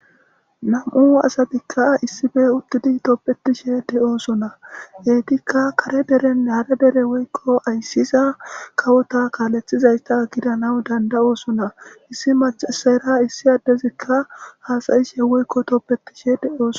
Nam'u asatika issipe utidi hasa'ishene tobishe de'osona etika kare dere nage dere woyko aysiza kawota kaletizayta gidanaw danda'osona issi mac'asera issi adezika has'ishe woyko tobetishe de'osona.